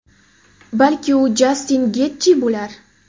Balki, u Jastin Getji bo‘lar?